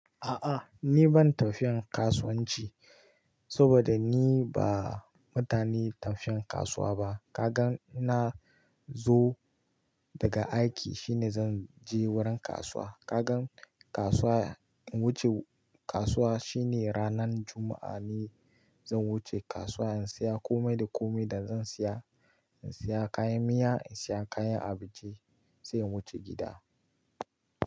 A'a ni ban tafiyan kasuwanci saboda ni ba mutumin tafiyan kasuwa ba. Kagan na zo daga aiki shine zan je wurin kasuwa. Kagan kasuwa, wuce kasuwa shine ranan Juma'a ne zan wuce kasuwa in siya komai da komai da zan siya. In siya kayan miya, in siya kayan abinci sai in wuce gida.